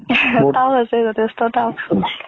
tough আছে, যথেষ্ট tough।